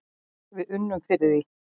Við unnum fyrir því.